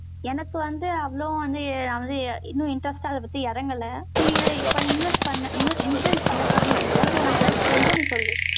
எனக்கு வந்து, அவ்வளவு வந்து, நான் வந்து, இன்னும் interest ஆ, அதைப் பத்தி இறங்கலை. invest பண்ண, insurance பண்ணப் போறேன்னு நினைக்கிறேன். so உனக்கு ஏதாவது தெரிஞ்சா, நீ சொல்லு